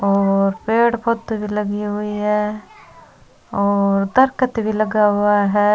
और पेड़ पौधे भी लगी हुई है और दरकत भी लगा हुआ है।